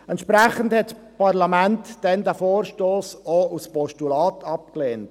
Entsprechend lehnte das Parlament diesen Vorstoss auch als Postulat ab.